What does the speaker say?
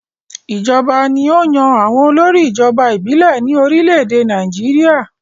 Ìjọba ni ó yan àwọn olórí ìjọba ìbílẹ̀ ní orílẹ̀-èdè Nàìjíríà lónìí.